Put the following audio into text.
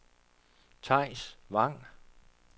Theis Vang